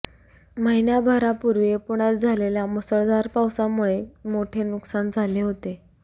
महिन्याभरापूर्वी पुण्यात झालेल्या मुसळधार पावसामुळे मोठे नुकसान झाले होते